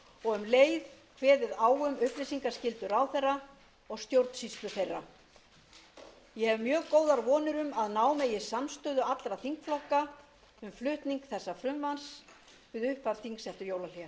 og um leið kveðið á um upplýsingaskyldu ráðherra og stjórnsýslu þeirra ég hef mjög góðar vonir um að ná megi samstöðu allra þingflokka um flutning þessa frumvarps við upphaf þings eftir jólahlé